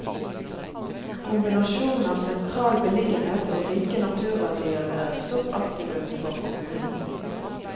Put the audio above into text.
Kombinasjonen av sentral beliggenhet og rike naturverdier er et stort aktivum for kommunen.